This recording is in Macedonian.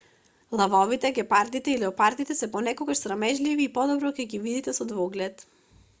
лавовите гепардите и леопардите се понекогаш срамежливи и подобро ќе ги видите со двоглед